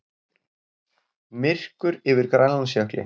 Myrkur yfir Grænlandsjökli.